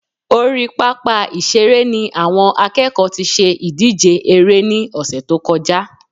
Orí pápá ìṣeré ni àwọn akẹ́kọ̀ọ́ tí ṣe ìdíje eré ní ọ̀sẹ̀ tó kọjá